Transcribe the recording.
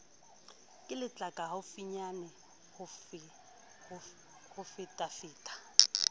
ke letlaka haufinyane ho fetafeta